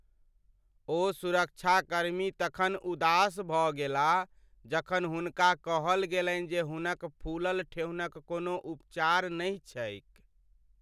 ओ सुरक्षाकर्मी तखन उदास भऽ गेलाह जखन हुनका कहल गेलनि जे हुनक फूलल ठेहुनक कोनो उपचार नहि छैक।